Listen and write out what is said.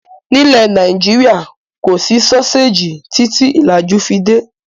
Nílẹ̀ Nàìjíríà, kò sí sọ́séjì títí ìlàjú fi dé.